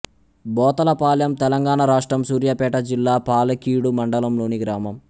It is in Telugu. బోతలపాలెం తెలంగాణ రాష్ట్రం సూర్యాపేట జిల్లా పాలకీడు మండలంలోని గ్రామం